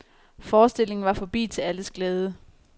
Forestillingen var forbi til alles glæde.